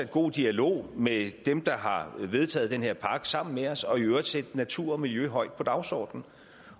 god dialog med dem der har vedtaget den her pakke sammen med os og i øvrigt sætte natur og miljø højt på dagsordenen